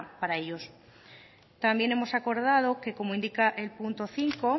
para ellos también hemos acordado que como indica el punto cinco